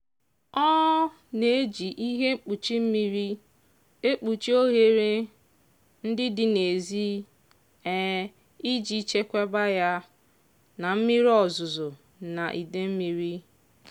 ọ na-eji ihe mkpuchi mmiri ekpuchi ohere ndị dị n'ezi iji chekwaba ya na mmiri ozuzu na ide mmiri.